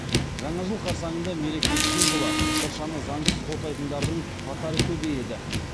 жаңа жыл қарсаңында мереке символы шыршаны заңсыз отайтындардың қатары көбейеді